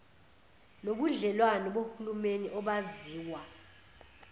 nobudlelwane bohulumeni obaziwa